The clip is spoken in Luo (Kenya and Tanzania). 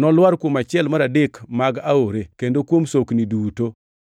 nolwar kuom achiel mar adek mag aore, kendo kuom sokni duto.